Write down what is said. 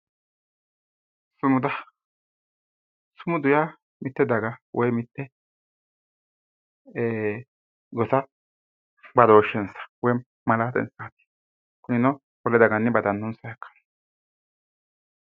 sumuda sumudu yaa mitte daga woyi mitte ee gosa badooshshensa xawisanno kunino wole dagawiinni badanonsaha ikkanno.